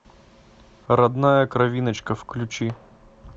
родная кровиночка включи